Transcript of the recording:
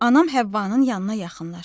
Anam Həvvanın yanına yaxınlaşdı.